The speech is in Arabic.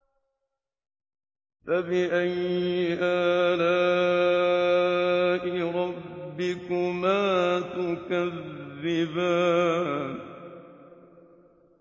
فَبِأَيِّ آلَاءِ رَبِّكُمَا تُكَذِّبَانِ